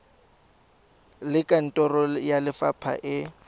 le kantoro ya lefapha e